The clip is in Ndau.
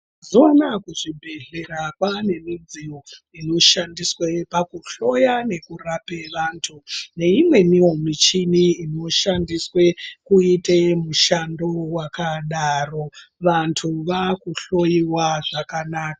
Mazuwaano kuzvibhedhleya kwaane midziyo inoshandiswe pakuhloya nekurapa vanthu neimwenio michini inoshandiswe kuite mishando yakadaro vanthu vaakuhloyiwa zvakanaka.